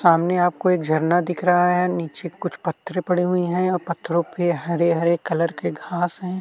सामने आपको एक झरना दिख रहा है नीचे कुछ पत्थर पड़े हुए हैं और पत्थरों पे हरे हरे कलर के घास हैं।